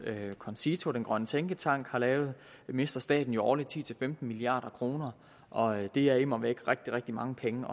concito den grønne tænketank har lavet mister staten årligt ti til femten milliard kr og det er immer væk rigtig rigtig mange penge